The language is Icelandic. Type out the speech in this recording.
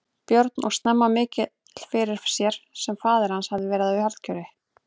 Björn og snemma mikill fyrir sér sem faðir hans hafði verið og harðgjör.